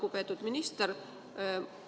Lugupeetud minister!